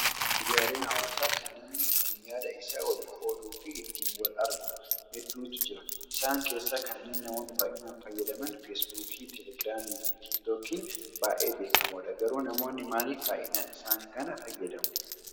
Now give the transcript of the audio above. Miidiyaalee hawaasaa kan namni iittiinyaada isaa walii qooduu fi ittiin wal argu. Hedduutu jira. Isaan keessaa kanneen namoonni baay'inaan fayyadaman feesbuukii, telegiraamii fi tiiktookiin baay'ee beekamoodha. Garuu namoonni maaliif baay'inaan isaan kana fayyadamu?